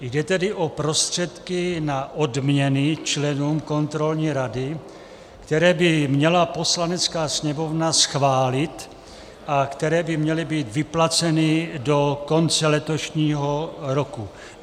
Jde tedy o prostředky na odměny členům kontrolní rady, které by měla Poslanecká sněmovna schválit a které by měly být vyplaceny do konce letošního roku.